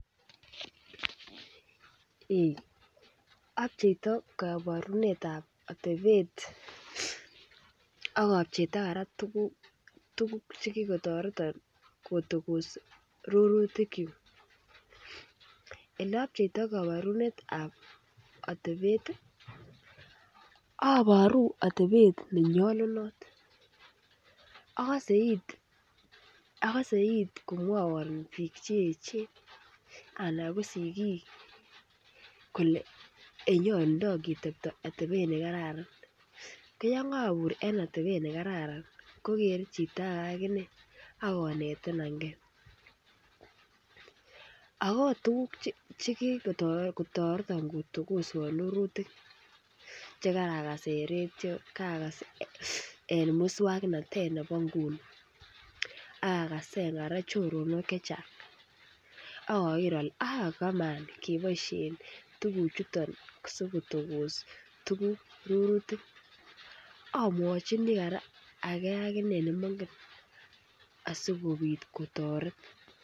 Abcheptoi kaborunet ab otebet ak apcheitoi kora tuguk Che ki kotoreton kotogos rurutik kyuk Ole apcheitoi kaborunet ab atebet aboru atebet ne nyolunot agose it komwawon bik Che echen anan ko sigik kole nyolundoi ketebi atebet nekaran ko yon kobur en atebet nekararan ko kere chito age akine ak konetanan ge ako tuguk Che kigotoreton kotokoswon rurutik chekarakas en radio cherakas en moswoknatet nebo nguni ak agasen kora choronok chechang ak ager ale abak bo maana keboisien tuguchuton asi kotogos tuguk cheu rurutik amwachini kora age aginee ne mongen asikobit kotoret